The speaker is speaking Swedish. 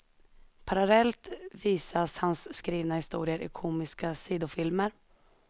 Parallellt visas hans skrivna historier i komiska sidofilmer.